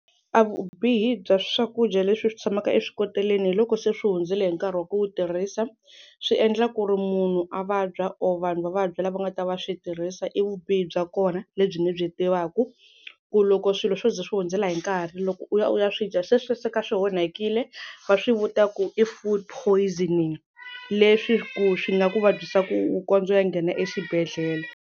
A vubihi bya swakudya leswi swi tshamaka eswikoleni hi loko se swi hundzele hi nkarhi wa ku tirhisa swi endla ku ri munhu a vabya or vanhu va vabya lava nga ta va swi tirhisa i vubihi bya kona lebyi ndzi byi tivaka ku loko swilo swo ze swi hundzela hi nkarhi loko u ya u ya swi dya se swi suka swi onhakile va swi vuta ku i food poisoning leswi ku swi nga ku vabyisa ku kondza u ya nghena exibedhlele.